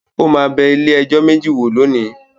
Ó máa bẹ ilé-ẹjọ́ méjì wò lónìí.